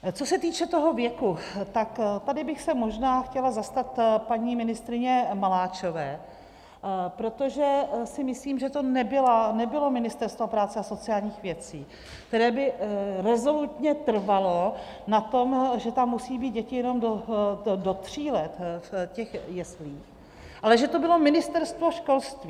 Co se týče toho věku, tak tady bych se možná chtěla zastat paní ministryně Maláčové, protože si myslím, že to nebylo Ministerstvo práce a sociálních věcí, které by rezolutně trvalo na tom, že tam musí být děti jenom do tří let v těch jeslích, ale že to bylo Ministerstvo školství.